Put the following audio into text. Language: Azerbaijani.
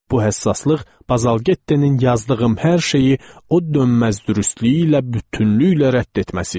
Bu həssaslıq Bazalgettenin yazdığım hər şeyi o dönməz dürüstlüyü ilə bütünlüklə rədd etməsi idi.